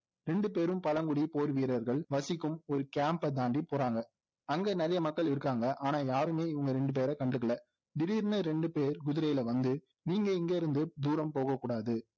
ரெண்டுபேரும் பலமுடி போர்வீரர்கள் வசிக்கும் ஒரு camp ஐ தாண்டி போறாங்க அங்க நிறைய மக்கள் இருக்காங்க ஆனால் யாருமே இவங்களை ரெண்டுபேரை கண்டுக்களை திடீர்னு ரெண்டு பேர் குதிரையில் வந்து நீங்க இங்கே இருந்து தூரம் போக கூடாது